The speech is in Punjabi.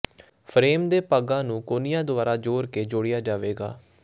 ਫਰੇਮ ਦੇ ਭਾਗਾਂ ਨੂੰ ਕੋਨਿਆਂ ਦੁਆਰਾ ਜੋੜ ਕੇ ਜੋੜਿਆ ਜਾਵੇਗਾ